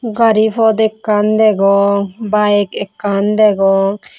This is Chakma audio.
gari pot ekkan degong bayeg ekkan degong.